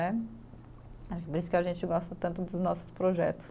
Né. que a gente gosta tanto dos nossos projetos.